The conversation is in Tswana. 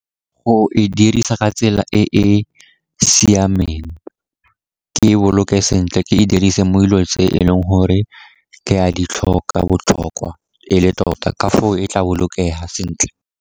O e dirisa ka tsela e e siameng, ke e boloke sentle, ke e dirise mo dilong tse e leng gore ke a di tlhoka botlhokwa e le tota, ka foo e tla bolokega sentle.